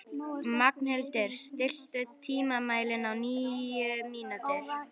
Magnhildur, stilltu tímamælinn á níu mínútur.